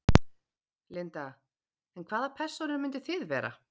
Linda: En hvaða persónur myndið þið vera?